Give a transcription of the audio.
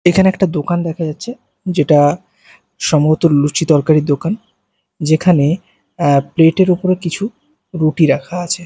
এখানে একটা দোকান দেখা যাচ্ছে যেটা সম্ভবত লুচি তরকারির দোকান যেখানে এ্যা প্লেট -এর উপরে কিছু রুটি রাখা আছে।